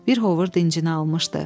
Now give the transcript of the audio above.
Bir hovur dincini almışdı.